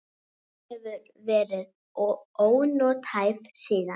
Hún hefur verið ónothæf síðan.